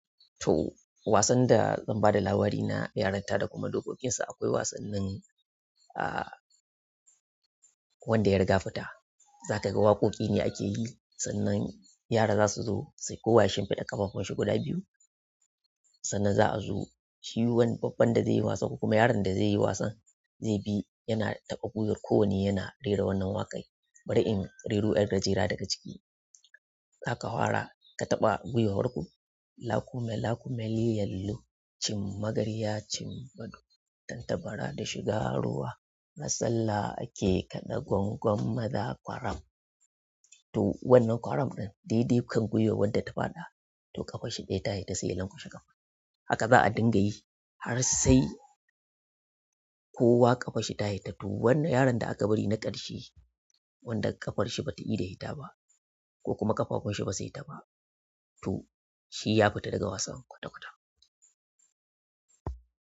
To wasan da zan bada labari na yarinta da kuma dokokinsa akwai wasannin a wanda ya riga fita zaka ga waƙoƙi ne ake yi sannan yara za su zo sai ko wayeshin fiɗa ƙafafunsu guda biyu sannan za a zo shi wani babban da zai yi wasan ko kuma yaron da zai yi wasan zai bi yana taɓa gwiwar kowane yana rera wannan waƙar bari in rero 'yar gajera daga ciki aka hwara ka taɓa guiwar hwarko "Lako mai lako mai lyallo, cin magarya cin gado, tantabara da shiga ruwa, masallaci ake kaɗa gwangwam maza kwaram" to wannan kwaram ɗin daidai kan gwiwar wanda ta faɗa ti ƙafar shi ɗaya ta fita sai ya lanƙwashe ƙafar to haka za a dinga yi har sai kowa ƙafarshi ta fita to yaron da a ka bari na ƙarshe wanda ƙafarshi bata ida fita ba ko kuma ƙafafunshi basa fitta ba to shi ya fita daga wasan kwata-kwata.